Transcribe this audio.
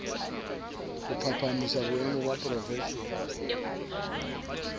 ho phahamisa boemo ba profeshene